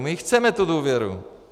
My ji chceme, tu důvěru.